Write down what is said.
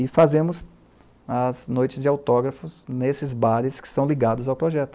E fazemos as noites de autógrafos nesses bares que são ligados ao projeto.